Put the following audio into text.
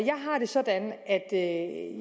jeg har det sådan at